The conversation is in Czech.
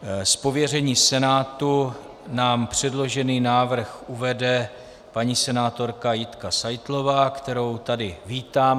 Z pověření Senátu nám předložený návrh uvede paní senátorka Jitka Seitlová, kterou tady vítám.